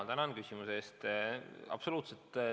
Tänan küsimuse eest!